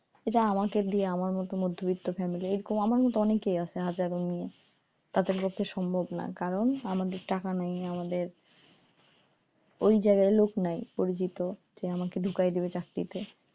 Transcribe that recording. এটা আমাকে দিয়ে আমাকে দিয়ে আমার মতো মধ্যবিত্ত family এরকম আমার মতো অনেকেই আছে হাজারও মেয়ে তাদের পক্ষে সম্ভব না কারণ আমাদের টাকা নাই আমাদের ওই জায়গায় লোক নাই পরিচিত যে আমাকে ডুকায়া দিবে চাকরিতে,